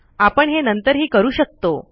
आपण हे नंतरही करू शकतो